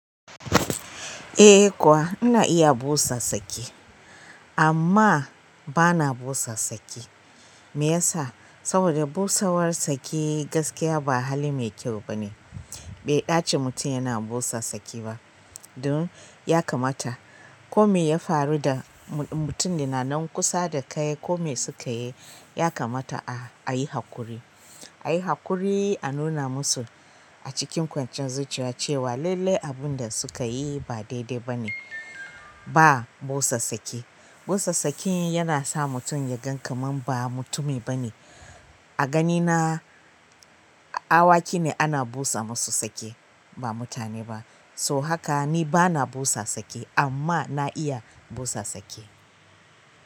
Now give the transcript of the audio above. Eh kuwa ina iya busa saki amma bana busassaki. Me yasa? Saboda busawar sake gaskiya ba hali mai kyau bane. Bai ɗace mutum yana busa saki ba. Dun, ya kamata ko me ya faru da mutum, da nan kusa da kai ko me suka yi, ya kamata a yi haƙuri. A yi haƙuri a nuna musu a cikin kwanciyar zuciya cewa lailai abun da suka yi ba daidai bane. Ba busa saki. Busa saki yana sa mutum ya gan kamar ba mutumi bane. A ganina, awaki ne ana busa musu saki ba mutane ba. So haka ni bana busa saki amma na iya busa saki.